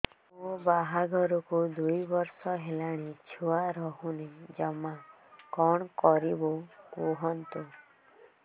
ମୋ ବାହାଘରକୁ ଦୁଇ ବର୍ଷ ହେଲାଣି ଛୁଆ ରହୁନି ଜମା କଣ କରିବୁ କୁହନ୍ତୁ